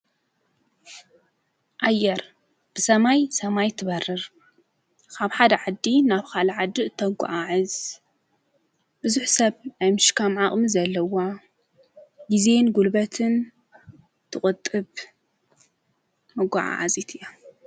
ኣየር ብሰማይ ሰማይ ትበርር ኻብ ሓድ ዓዲ ናብ ኻል ዓድእ እተጐዓ ዕዝ ብዙኅ ሰብ ኤምሽካም ዓቕሚ ዘለዋ ጊዜ ንጕልበትን ትቕጥብ መጐዓዓዚት እያ።